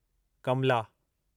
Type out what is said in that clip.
Kamla